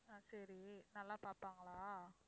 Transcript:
அஹ் சரி நல்லா பார்ப்பாங்களா?